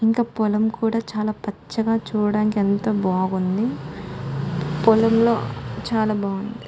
ఇంకా పొలం కూడా చాలా పచ్చగా చూడడానికి ఎంతో బావుంది పొలంలో చాలా బాగుంది